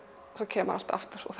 kemur alltaf aftur og